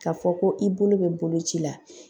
K'a fɔ ko i bolo bɛ boloci la